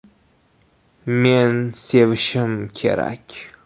Men sevishim kerak”.